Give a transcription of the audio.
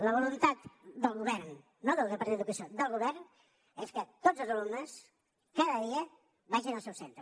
la voluntat del govern no del departament d’educació del govern és que tots els alumnes cada dia vagin al seu centre